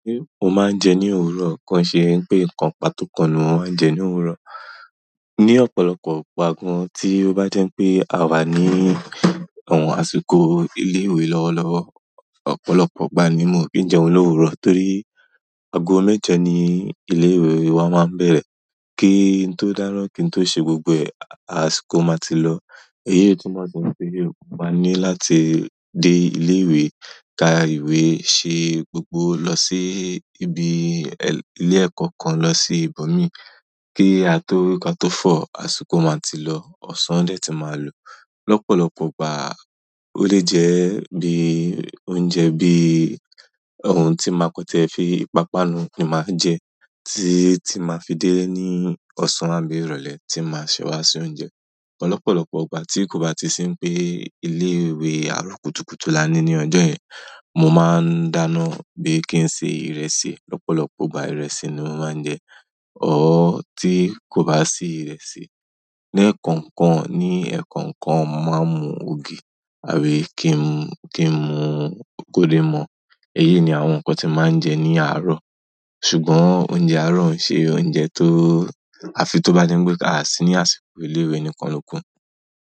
Mo máa ń jẹ ní òwúrọ̀. Kàn ṣe pé nǹkan pàtó kan ni mo máa ń jẹ ní òwúrọ̀. Ni ọ̀pọ̀lọpọ̀ ìgbà gan, tí ó bá jẹ́ pé àwa ní àwọn àsìkò ilé ìwé lọ́wọ́lọ́wọ́, ọ̀pọ̀lọpọ̀ ìgbà ni mi o ki n jẹun lówùúrọ̀ torí àgọ́ méje ni ilé ìwé wá máa ń bẹ̀rẹ̀. Kí n tó dáná kí n tó ṣe gbogbo ẹ̀, àsìkò máa ti lọ. Èyí tí mo ṣe ṣe, mo máa ní láti dé ilé ìwé, ka ìwé, ṣe gbogbo, lọ sí ibi ilé ẹ̀kọ́ kan, lọ sí ibòmí. Kí a tó rí kí a tó fọ̀, àsìkò máa ti lọ. Ọ̀sán dẹ́ ti máa lò. Lọ́pọ̀lọpọ̀ ìgbà, ó lè jẹ́ bí oúnjẹ bí ohun tí máa kan tí ẹ fi ìpápánu ni màá jẹ, tí tí màá fi délé ní ọ̀sán àbí ìrọ̀lẹ́ tí màá ṣẹwá se oúnjẹ. Ọ̀pọ̀lọpọ̀ ìgbà tí kò bá ti sí pé ilé ìwé àárọ̀ kùtùkùtù la ní ní ọjọ́ yẹn, mo máa ń dáná bí kí n ṣe ìrẹsì. Lọ́pọ̀lọpọ̀ ìgbà ìrẹsì ni mo máa ń jẹ. Ọ̀r tí kò bá sí ìrẹsì, lẹ́ẹ̀kọ̀kan ní ẹ̀kọ́kan máa ń mu ògì àbí kí n mú gólden more. Èyí ni àwọn nǹkan tí màá ń jẹ ní àárọ̀. Ṣùgbọ́n oúnjẹ àárọ̀ ǹ ṣe oúnjẹ tó á fi tó bá jẹ́ pé á sí ni àsìkò ilé ìwé nìkan lókun.